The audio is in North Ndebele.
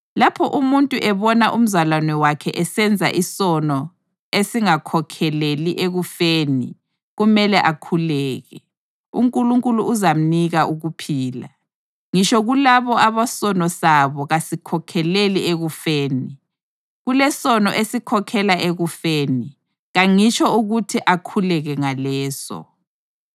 Lapho umuntu ebona umzalwane wakhe esenza isono esingakhokheleli ekufeni, kumele akhuleke, uNkulunkulu uzamnika ukuphila. Ngitsho kulabo abasono sabo kasikhokheleli ekufeni. Kulesono esikhokhelela ekufeni. Kangitsho ukuthi akhuleke ngaleso.